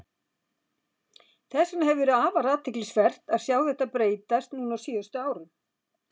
Þess vegna hefur verið afar athyglisvert að sjá þetta breytast núna á síðustu árum.